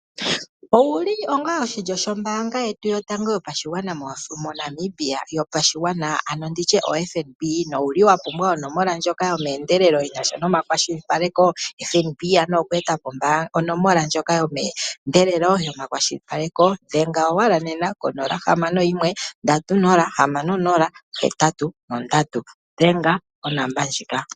Ouli oshilyo shombaanga yetu yotango yopashigwana ano nditye oFNB nowuli wapumbwa onomola ndjoka yomeendelelo yinasha nomakwashilipaleko FNB anuwa okweetapo onomola ndjoka yomeendelele yomakwashilipaleko dhenga owala nena konola hamano yimwe ndatu nola hamano nola ohetatu nondatu dhenga onomola ndjoka.